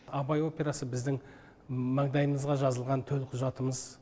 абай операсы біздің маңдайымызға жазылған төлқұжатымыз